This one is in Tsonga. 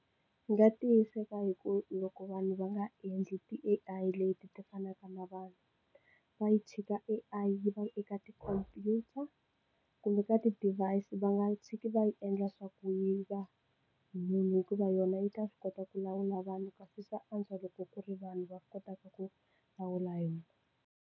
Ndzi nga tiyiseka hi ku loko vanhu va nga endli ti al leti ti fanaka na vanhu va yi tshika aI yi va eka tikhompyuta kumbe ka ti device va nga tshiki va yi endla swa ku yi va munhu hikuva yona yi ta swi kota ku lawula vanhu kasi swa antswa loko ku ri vanhu va kotaka ku lawula yona.